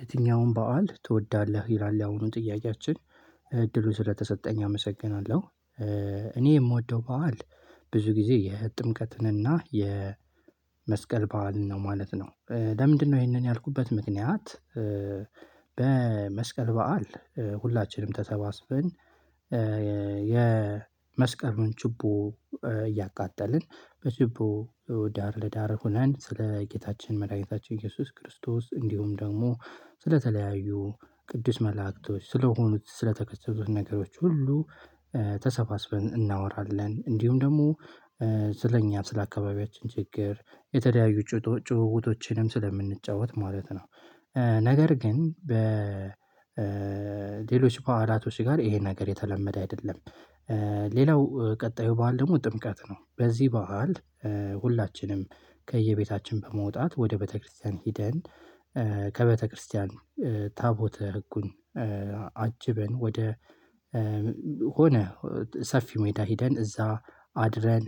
የትኛውን በዓል ትወዳለህ? ይላል ያሁኑ ጥያቄያችን እድሉ ስለተሰጠኝ አመሰግናለሁ እኔ የምወደው በዓል ብዙ ጊዜ የጥምቀትንና የመስቀል በዓልን ነው ማለት ነው ለምንድነው ይሄንን ያልኩበት ምክንያት በመስቀል በዓል ሁላችንም ተሰባስበን የመስቀሉን ችቦ እያቃጠልን በችቦ ዳር ለዳር ሆነን ስለ ጌታችን መድኃኒታችን ኢየሱስ ክርስቶስ እንዲሁም ደግሞ ስለተለያዩ ቅዱስ መላእክቶች ስለሆኑ ስለተከሰቱት ነገሮች ሁሉ ተሰባስበን እናወራለን እንዲሁም ደግሞ ስለእኛ ስለአካባቢያችን ችግር የተለያዩ ጭውውቶችንም ስለምንጫወት ማለት ነው ነገር ግን በሌሎች በዓላቶች ጋር ይሄ ነገር የተለመደ አይደለም ሌላው ቀጣዩ በዓል ደግሞ ጥምቀት ነው በዚህ በዓል ሁላችንም ከየቤታችን በመውጣት ወደ ቤተክርስቲያን ሄደን ከቤተክርስቲያን ታቦተ ህጉን አጅበን ወደ ሆነ ሰፊ ሜዳ ሄደን እዛ አድረን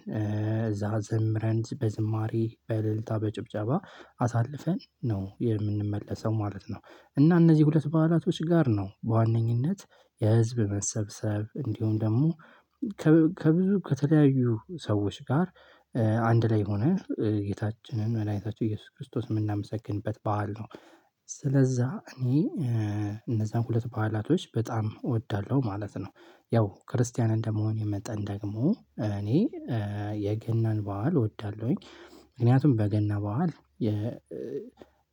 እዛ ዘምረን በዝማሬ በልልታ በጭብጨባ አሳልፈን ነው የምንመለሰው ማለት ነው እና እነዚህ ሁለት በዓላቶች ጋር ነው በዋነኝነት የህዝብ መሰብሰብ እንዲሆን ደግሞ ከብዙ ከተለያዩ ሰዎች ጋር አንድ ላይ ሆነን ጌታችንን መድኃኒታችን ኢየሱስ ክርስቶስ የምናመሰግንበት በዓል ነው ስለዛ እኔ እነዛን ሁለት በዓላቶች በጣም እወዳለሁ ማለት ነው ያው ክርስቲያን እንደመሆን የመጠን ደግሞ እኔ የገናን በዓል እወዳለሁኝ ምክንያቱም በገና በዓል የ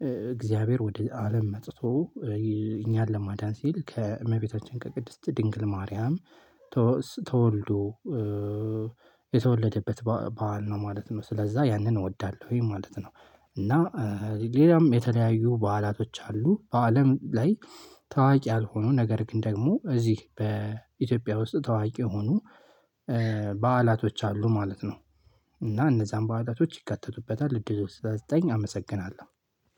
የእግዚአብሔር ወደ አለም መጥቶ እኛን ለማዳን ሲል ከእመቤታችን ከቅድስት ድንግል ማርያም ተወልዶ የተወለደበት በዓል ነው ማለት ነው ስለዛ ያንን እወዳለሁ ይሄ ማለት ነው እና ሌላም የተለያዩ በዓላቶች አሉ በአለም ላይ ታዋቂ ያልሆኑ ነገር ግን ደግሞ እዚህ በኢትዮጵያ ውስጥ ታዋቂ የሆኑ በዓላቶች አሉ ማለት ነው እና እነዛን በዓላቶች ይከተቱበታል እንዴት ዘጠኝ አመሰግናለሁ